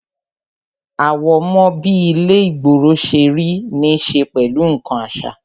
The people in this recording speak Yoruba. Àwọ̀mọ́ bí ilé ìgboro ṣe rí ní ṣe pẹ̀lú nkan àṣà